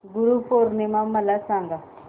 गुरु पौर्णिमा मला सांग